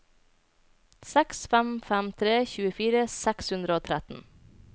seks fem fem tre tjuefire seks hundre og tretten